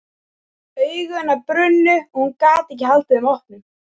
Augu hennar brunnu og hún gat ekki haldið þeim opnum.